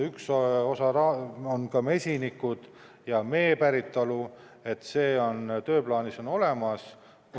Üks osa on mesinikud ja mee päritolu – see on tööplaanis olemas.